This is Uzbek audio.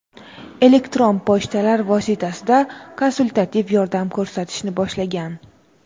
elektron pochtalar vositasida konsultativ yordam ko‘rsatishni boshlagan.